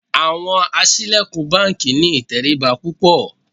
Àwọn aṣílẹ̀kùn báńkì ní ìtẹríba púpọ̀.